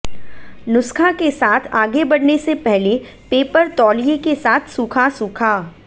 नुस्खा के साथ आगे बढ़ने से पहले पेपर तौलिए के साथ सूखा सूखा